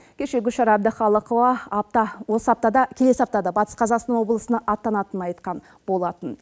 кеше гүлшара әбдіқалықова апта осы аптада келесі аптада батыс қазақстан облысына аттанатынын айтқан болатын